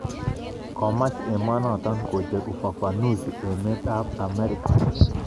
Komaach emenoto kocher ufafanusi emet ab Ameriga